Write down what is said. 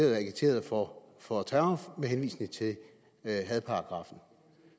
agiteret for for terror med henvisning til hadparagraffen